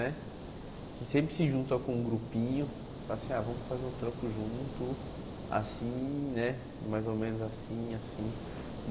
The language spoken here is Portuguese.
Né sempre se junta com um grupinho e fala assim, ah vamos fazer um trampo junto, assim né, mais ou menos assim, assim.